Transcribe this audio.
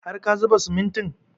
Har ka zuba simintin?